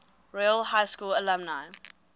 royal high school alumni